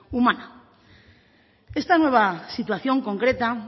humana esta nueva situación concreta